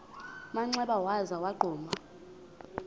manxeba waza wagquma